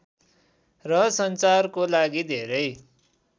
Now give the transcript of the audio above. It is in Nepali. र सञ्चारको लागि धेरै